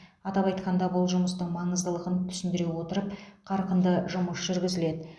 атап айтқанда бұл жұмыстың маңыздылығын түсіндіре отырып қарқынды жұмыс жүргізіледі